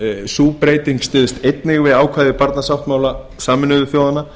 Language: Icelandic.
sú breyting styðst einnig við ákvæði barnasáttmála sameinuðu þjóðanna